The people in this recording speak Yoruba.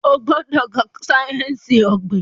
Ogbodo ká sáyẹnsì ogbin!